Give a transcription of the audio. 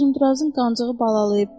Uzundrazın qancığı balalayıb.